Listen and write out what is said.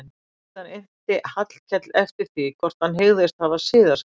Síðan innti hann Hallkel eftir því hvort hann hygðist hafa siðaskipti.